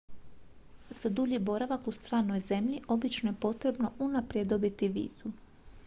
za dulji boravak u stranoj zemlji obično je potrebno unaprijed dobiti vizu